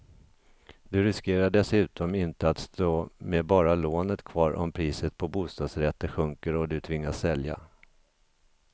Du riskerar dessutom inte att stå med bara lånet kvar om priset på bostadsrätter sjunker och du tvingas sälja.